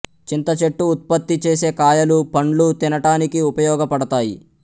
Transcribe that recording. చింత చెట్టు ఉత్పత్తి చేసే కాయలు పండ్లు తినటానికి ఉపయోగ పడతాయి